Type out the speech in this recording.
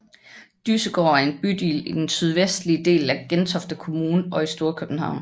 Dyssegård er en bydel i den sydvestlige del af Gentofte Kommune og i Storkøbenhavn